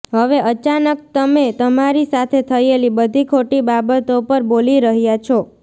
હવે અચાનક તમે તમારી સાથે થયેલી બધી ખોટી બાબતો પર બોલી રહ્યા છો